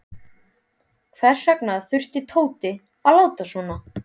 Hvers vegna þurfti Tóti að láta svona.